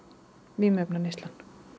vímuefnaneysla